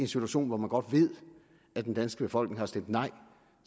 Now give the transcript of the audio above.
situation hvor man godt ved at den danske befolkning har stemt nej